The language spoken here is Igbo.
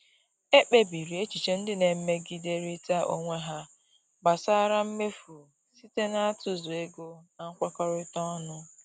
Ekpebiri echiche ndị na-emegiderịta onwe ha gbasara mmefu site n'atụzụ ego na nkwekọrịta ọnụ.